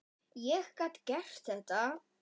Ég gat gert þetta.